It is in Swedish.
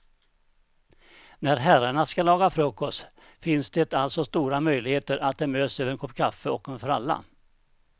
När herrarna ska laga frukost finns alltså det stora möjligheter att de möts över en kopp kaffe och en fralla.